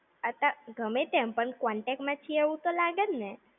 અચ્છા, ગમે તેમ પણ contact માં છીએ એવું તો લાગે ને!